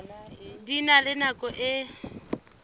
di na le nako e